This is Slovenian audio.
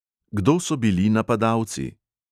Kdo so bili napadalci?